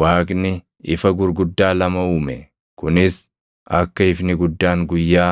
Waaqni ifa gurguddaa lama uume; kunis akka ifni guddaan guyyaa,